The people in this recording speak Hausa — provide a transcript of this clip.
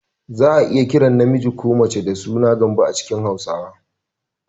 Za a iya kiran namiji ko mace da suna "Gambo" a cikin Hausawa